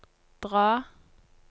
dra